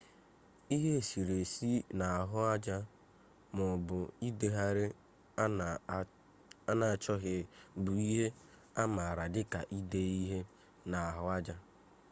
ihe eserese na ahuaja maobu idegheri ana achoghi bu ihe amaara dika ide ihe na ahu aja